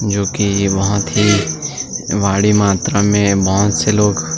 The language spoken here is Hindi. जो की ये बहुत ही भारी मात्रा में बहुत से लोग --